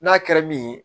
N'a kɛra min ye